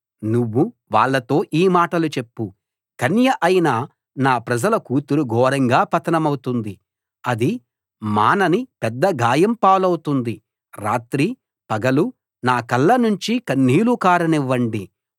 నువ్వు వాళ్ళతో ఈ మాటలు చెప్పు కన్య అయిన నా ప్రజల కూతురు ఘోరంగా పతనమవుతుంది అది మానని పెద్ద గాయం పాలవుతుంది రాత్రి పగలు నా కళ్ళ నుంచి కన్నీళ్లు కారనివ్వండి